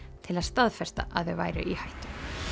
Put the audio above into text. til að staðfesta að þau væru í hættu